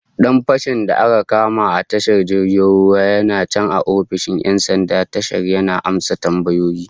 Dan fashin da aka kama a tashar jirgin ruwan yana can a ofishin 'yan sanda tashar yana amsa tambayoyi